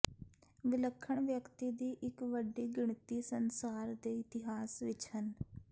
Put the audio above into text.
ਵਿਲੱਖਣ ਵਿਅਕਤੀ ਦੀ ਇੱਕ ਵੱਡੀ ਗਿਣਤੀ ਸੰਸਾਰ ਦੇ ਇਤਿਹਾਸ ਵਿੱਚ ਹਨ